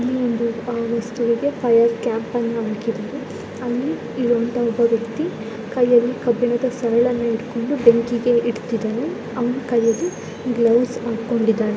ಇಲ್ಲಿ ಒಂದು ವಸ್ತುವಿಗೆ ಫೈರ್ ಕ್ಯಾಂಪ್ ಅನ್ನು ಹಾಕಿದ್ದಾರೆ ಅಲ್ಲಿ ಒಬ್ಬ ವ್ಯಕ್ತ್ತಿಕೈಯಲ್ಲಿ ಕಬ್ಬಿಣದ ಸರಳನ್ನುಇಟ್ಟುಕೊಂಡು ಬೆಂಕಿಗೆ ಇಡ್ತಿದಾನೆ ಅವನ ಕೈಯಲಿ ಗ್ಲೋವ್ಸ್ ಹಾಕೊಂಡಿದ್ದಾನೆ.